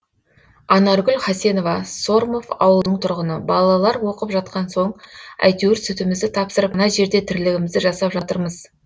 анаргүл хасенова сормов ауылының тұрғыны балалар оқып жатқан соң әйтеуір сүтімізді тапсырып мына жерде тірлігімізді жасап жатырмыз